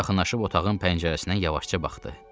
O yaxınlaşıb otağın pəncərəsindən yavaşca baxdı.